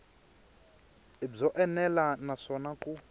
i byo enela naswona ku